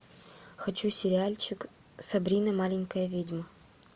хочу сериальчик сабрина маленькая ведьма